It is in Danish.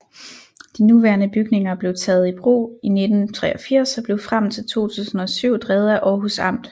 De nuværende bygninger blev taget i brug i 1983 og blev frem til 2007 drevet af Århus Amt